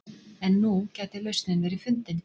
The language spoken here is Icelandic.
En nú gæti lausnin verið fundin